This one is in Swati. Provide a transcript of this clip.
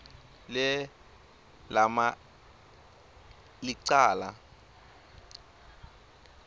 le lama licala